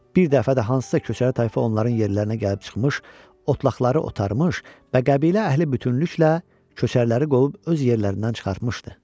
Bir dəfə də hansısa köçəri tayfa onların yerlərinə gəlib çıxmış, otlaqları otarmış və qəbilə əhli bütünlüklə köçəriləri qovub öz yerlərindən çıxartmışdı.